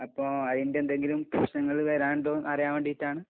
അപ്പൊ അതിന്റെ എന്തെങ്കിലും പ്രശ്നങ്ങള് വരാനുണ്ടോ എന്ന് അറിയാൻ വേണ്ടിയിട്ടാണ്...